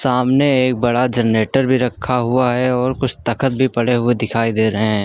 सामने एक बड़ा जनरेटर भी रखा हुआ है और कुछ तख्त भी पड़े हुए दिखाई दे रहे हैं।